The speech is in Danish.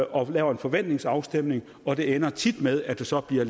og laver en forventningsafstemning og det ender tit med at der så bliver